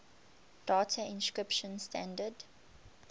data encryption standard